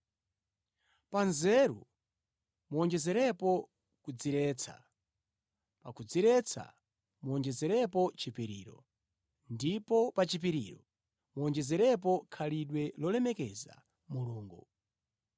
Pa nzeru muwonjezerepo kudziretsa, pa kudziretsa muwonjezerepo chipiriro, ndipo pa chipiriro muwonjezerepo khalidwe lolemekeza Mulungu.